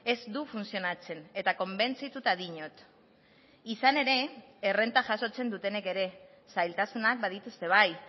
ez du funtzionatzen eta konbentzituta diot izan ere errenta jasotzen dutenek ere zailtasunak badituzte bai